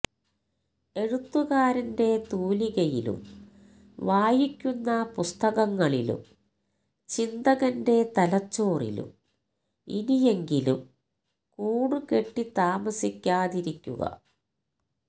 എഴുത്തുകാരന്റെ തൂലികയിലും വായിക്കുന്ന പുസ്തകങ്ങളിലും ചിന്തകന്റെ തലച്ചോറിലും ഇനിയെങ്കിലും കൂടുകെട്ടിത്താമസിക്കാതിരിക്കുക